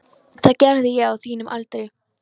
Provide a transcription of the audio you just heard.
Það gerði ég á þínum aldri.